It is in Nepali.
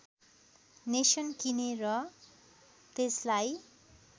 नेसन किने र त्यसलाई